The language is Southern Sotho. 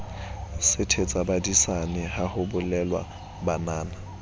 sethetsabadisana ha ho bolelwa banana